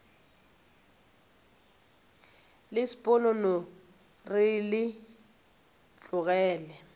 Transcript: le sponono re le tlogele